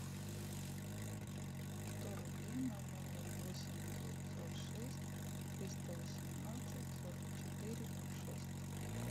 сто рублей на номер восемь девятьсот шесть триста восемнадцать сорок четыре ноль шесть